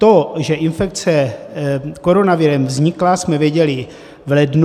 To, že infekce koronavirem vznikla, jsme věděli v lednu.